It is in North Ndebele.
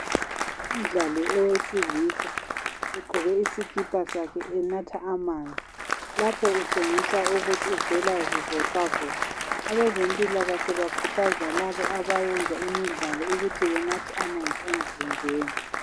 umdlali owesilisa egqoke isikipa sakhe enatha amanzi lapho kutshengisa ukuthi uvela zivoxavoxa abezempilakahle bakhuthaza labo abayenza imidlalo ukuthi banathe amanzi emzimbeni